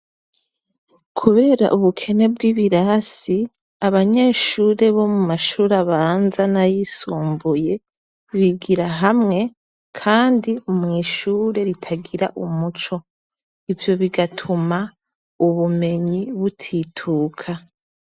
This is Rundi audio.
Kubera ubukene bwibirasi abanyeshure bomumashure abanza nayisumbuye bigira hamwe kandi mwishure ritagira umuco ivyo bigatuma ubumenyi butituka